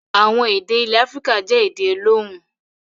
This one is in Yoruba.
Àwọn èdè ilẹ̀ Áfíríkà jẹ́ èdè olóhùn.